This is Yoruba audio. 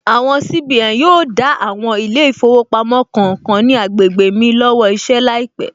Àwọn CBN yóò dá àwọn ilé ìfowópamọ́ kọ̀ọ̀kan ní agbègbè mi lọ́wọ́ iṣẹ́ láìpẹ̀